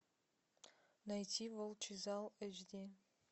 найти волчий зал эйч ди